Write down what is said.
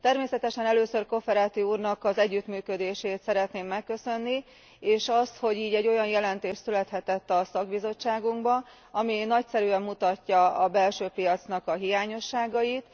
Természetesen először Cofferati úrnak az együttműködését szeretném megköszönni, és azt, hogy így egy olyan jelentés születhetett a szakbizottságunkban, ami nagyszerűen mutatja a belső piac hiányosságait.